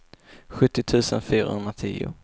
sjuttio tusen fyrahundratio